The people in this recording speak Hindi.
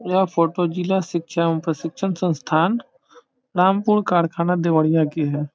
यह फोटो जिला शिक्षा एवं प्रशिक्षण संस्थान रामपुर कारखाना देवरिया के है।